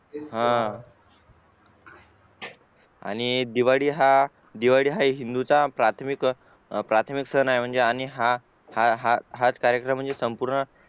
हा आणि दिवाळी हा दिवाळी हा हिंदूंचा प्राथमिक सण आणि हा हा हाच कार्यक्रम म्हणजे संपूर्ण